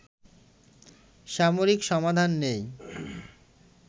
সামরিক সমাধান নেই